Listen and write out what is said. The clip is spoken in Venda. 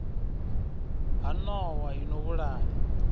ha nowa i no vhulaya